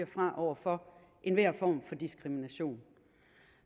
fra over for enhver form for diskrimination